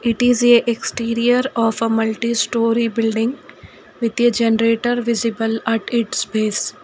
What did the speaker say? it is a exterior of a multi storey building with a generator visible at it's pace .